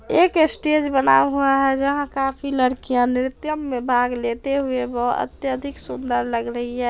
एक स्टेज बना हुआ है जहां काफी लड़कियां नृत्यम‌ में भाग लेते हुए वो अत्यधिक सुंदर लग रही है ।